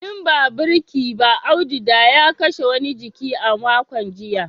In ba birki ba Audu ya kashe wani jiki a makon jiya